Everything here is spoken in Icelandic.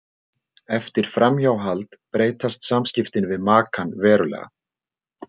Eftir framhjáhald breytast samskiptin við makann verulega.